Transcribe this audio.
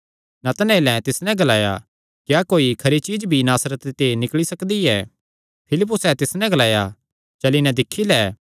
नतनएलें तिस नैं ग्लाया क्या कोई खरी चीज्ज भी नासरते ते निकल़ी सकदी ऐ फिलिप्पुसैं तिस नैं ग्लाया चली नैं दिक्खी लै